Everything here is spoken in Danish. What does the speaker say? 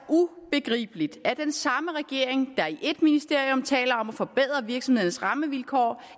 ubegribeligt at den samme regering der i ét ministerium taler om at forbedre virksomhedernes rammevilkår